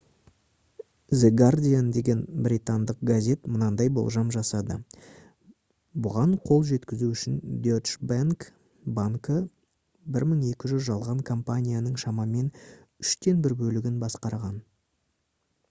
the guardian деген британдық газет мынадай болжам жасады бұған қол жеткізу үшін deutsche bank банкі 1200 жалған компанияның шамамен үштен бір бөлігін басқарған